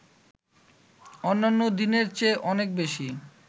অন্যন্য দিনের চেয়ে অনেক বেশি